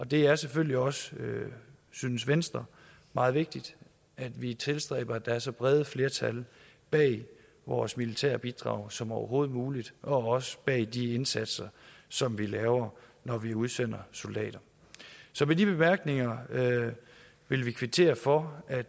det er selvfølgelig også synes venstre meget vigtigt at vi tilstræber at der er så brede flertal bag vores militære bidrag som overhovedet muligt og også bag de indsatser som vi laver når vi udsender soldater så med de bemærkninger vil vi kvittere for at